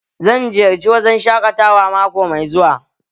Zan ziyarci wurin shaƙatawa mako mai zuwa